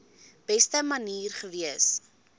beste manier gewees